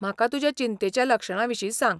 म्हाका तुज्या चिंतेच्या लक्षणांविशीं सांग.